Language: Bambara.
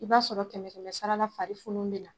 I b'a sɔrɔ kɛmɛ kɛmɛ sarala fari funun bɛ na